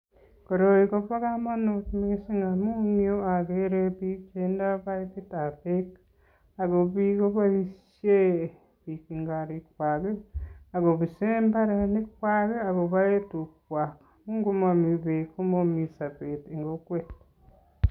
Koroi kobo kamanut mising amun eng yu ageere biik che indoi paipitab beek ako biik kooishen biik eng korikwai ako pise imbaarenikwai ako pae tugwai, ngo mami beek, komami sobet eng kokwet.